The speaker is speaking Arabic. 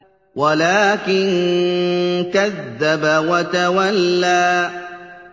وَلَٰكِن كَذَّبَ وَتَوَلَّىٰ